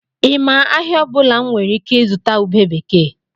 I ma ahịa ọbụla m nwere ike ịzụta ube bekee?